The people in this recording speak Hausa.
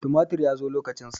tumatir ya zo lokacin sak